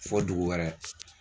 Fo dugu wɛrɛ.